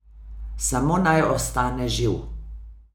Samo naj ostane živ.